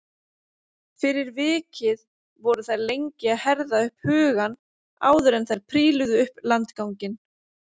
Fyrir vikið voru þær lengi að herða upp hugann áður en þær príluðu upp landganginn.